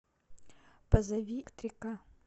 позови электрика